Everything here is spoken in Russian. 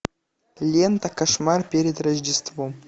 лента кошмар перед рождеством